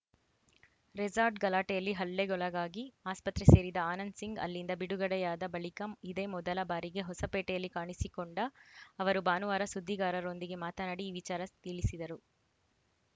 resort ಗಲಾಟೆಯಲ್ಲಿ ಹಲ್ಲೆಗೊಳಗಾಗಿ ಆಸ್ಪತ್ರೆ ಸೇರಿದ್ದ ಆನಂದ್‌ ಸಿಂಗ್‌ ಅಲ್ಲಿಂದ ಬಿಡುಗಡೆಯಾದ ಬಳಿಕ ಇದೇ ಮೊದಲ ಬಾರಿಗೆ ಹೊಸಪೇಟೆಯಲ್ಲಿ ಕಾಣಿಸಿಕೊಂಡ ಅವರು ಭಾನುವಾರ ಸುದ್ದಿಗಾರರೊಂದಿಗೆ ಮಾತನಾಡಿ ಈ ವಿಚಾರ ತಿಳಿಸಿದರು